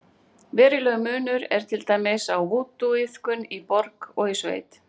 Verulegur munur er til dæmis á vúdúiðkun í borg og í sveit.